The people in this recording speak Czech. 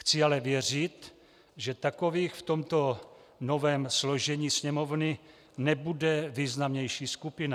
Chci ale věřit, že takových v tomto novém složení Sněmovny nebude významnější skupina.